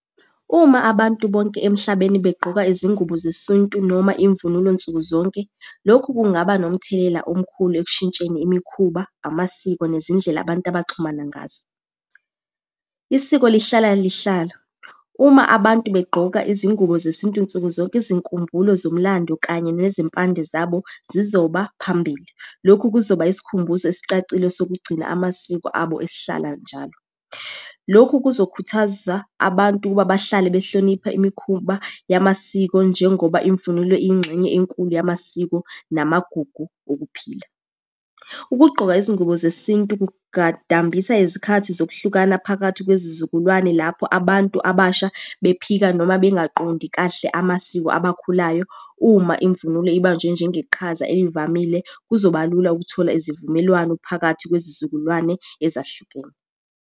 Uma abantu bonke emhlabeni begqoka izingubo zesintu noma imvunulo nsuku zonke, lokhu kungaba nomthelela omkhulu ekushintsheni imikhuba, amasiko, nezindlela abantu abaxhumana ngazo. Isiko lihlala lihlala, uma abantu begqoka izingubo zesintu nsuku zonke, izinkumbulo zomlando, kanye nezimpande zabo zizoba phambili. Lokhu kuzoba yisikhumbuzo esicacile sokugcina amasiko abo esihlala njalo. Lokhu kuzokhuthaza abantu ukuba bahlale behlonipha imikhuba yamasiko njengoba imvunulo iyingxenye enkulu yamasiko namagugu okuphila. Ukugqoka izingubo zesintu kungadambisa izikhathi zokuhlukana phakathi kwezizukulwane lapho abantu abasha bephika noma bengaqondi kahle amasiko abakhulayo. Uma imvunulo ibanjwe njengeqhaza elivamile, kuzoba lula ukuthola izivumelwano phakathi kwezizukulwane ezahlukene.